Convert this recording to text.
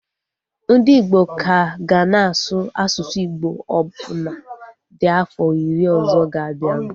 Ndị igbo ka ga na-asụ asụsụ Igbo ọbụna dị afọ iri ọzọ ga-abianu